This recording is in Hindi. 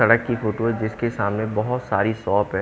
सड़क की फोटो है जिसके सामने बहुत सारी शॉप है।